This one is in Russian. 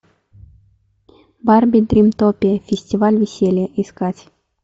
барби дримтопия фестиваль веселья искать